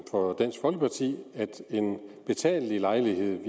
for dansk folkeparti at en betalelig lejlighed nogle